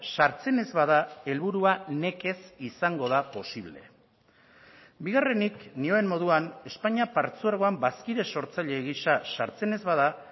sartzen ez bada helburua nekez izango da posible bigarrenik nioen moduan espainia partzuergoan bazkide sortzaile gisa sartzen ez bada